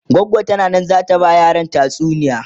goggo tana Nan zata ta ba ma yaran tatsuniya